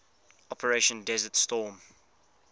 operation desert storm